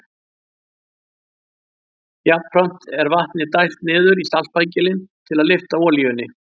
Jafnframt er vatni dælt niður í saltpækilinn til að lyfta olíunni.